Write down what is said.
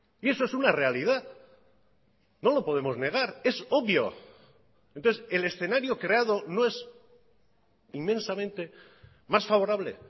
y eso es una realidad no lo podemos negar es obvio entonces el escenario creado no es inmensamente más favorable